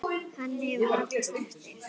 Hann hefur varla snert þig.